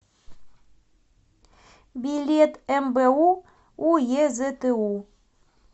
билет мбу уезту